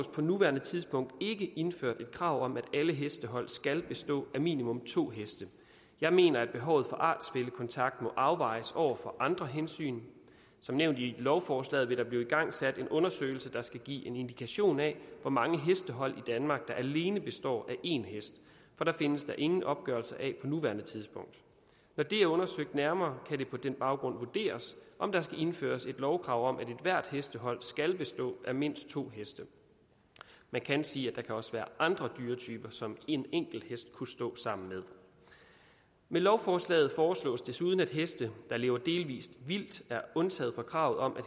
på nuværende tidspunkt ikke indført et krav om at alle hestehold skal bestå af minimum to heste jeg mener at behovet for artsfællekontakt må afvejes over for andre hensyn som nævnt i lovforslaget vil der blive igangsat en undersøgelse der skal give en indikation af hvor mange hestehold i danmark der alene består af én hest for det findes der ingen opgørelse af på nuværende tidspunkt når det er undersøgt nærmere kan det på den baggrund vurderes om der skal indføres et lovkrav om at ethvert hestehold skal bestå af mindst to heste man kan sige at der også kan være andre dyretyper som en enkelt hest kunne stå sammen med med lovforslaget foreslås det desuden at heste der lever delvis vildt er undtaget fra kravet om